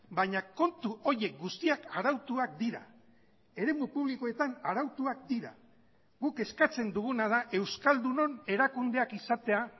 baina kontu horiek guztiak arautuak dira eremu publikoetan arautuak dira guk eskatzen duguna da euskaldunon erakundeak izatea